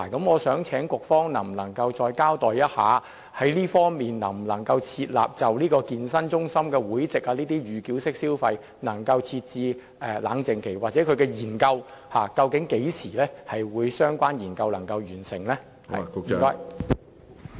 我想請局方再交代一下，能否就健身中心會籍的預繳式消費設置冷靜期，又或相關的研究何時會完成？